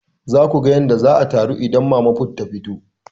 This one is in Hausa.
Za ku ga yadda za a taru idan mama put ta fito.